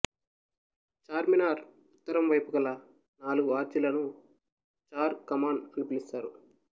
చార్మినార్ ఉత్తరం వైపు గల నాలుగు ఆర్చీలను చార్ కమాన్ అని పిసుస్తారు